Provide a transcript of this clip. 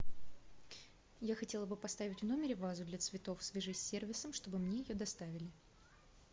я хотела бы поставить в номере вазу для цветов свяжись с сервисом чтобы мне ее доставили